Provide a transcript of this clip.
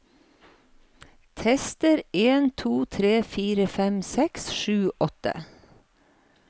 Tester en to tre fire fem seks sju åtte